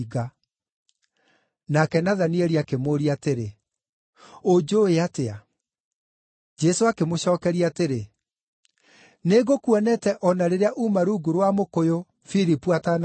Nake Nathanieli akĩmũũria atĩrĩ, “Ũnjũũĩ atĩa?” Jesũ akĩmũcookeria atĩrĩ, “Nĩngũkuonete o na rĩrĩa uuma rungu rwa mũkũyũ, Filipu atanagwĩta.”